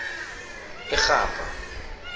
irhabha